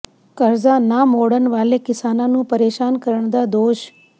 ਕਰਜ਼ਾ ਨਾ ਮੋੜਨ ਵਾਲੇ ਕਿਸਾਨਾਂ ਨੂੰ ਪ੍ਰੇਸ਼ਾਨ ਕਰਨ ਦਾ ਦੋਸ਼